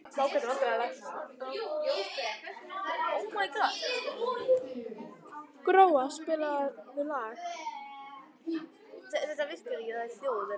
Gróa, spilaðu lag.